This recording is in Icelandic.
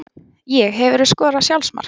Ég Hefurðu skorað sjálfsmark?